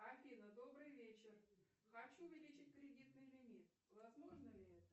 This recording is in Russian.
афина добрый вечер хочу увеличить кредитный лимит возможно ли это